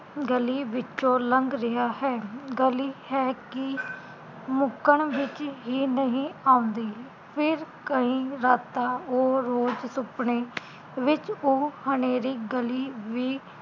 ਗਲੀ ਵਿੱਚੋ ਲੰਘ ਰਿਹਾ ਹੈ ਗਲੀ ਹੈ ਕਿ ਮੁੱਕਣ ਵਿਚ ਹੀ ਨਹੀਂ ਆਉਂਦੀ ਫਿਰ ਕਈ ਰਾਤਾਂ ਉਹ ਰੋਜ਼ ਸੁਪਨੇ ਵਿਚ ਉਹ ਹਨੇਰੀ ਗਲੀ ਵੀ